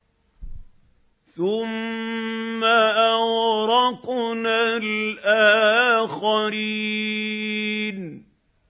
ثُمَّ أَغْرَقْنَا الْآخَرِينَ